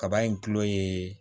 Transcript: Kaba in kulo ye